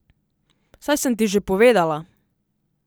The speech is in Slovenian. Saj sem ti že povedala.